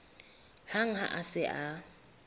hang ha a se a